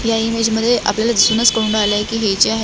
या इमेज मध्ये आपल्याला दिसूनच कळून आलय की हे जे आहे.